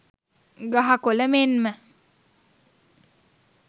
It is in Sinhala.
ගහ කොළ මෙන්ම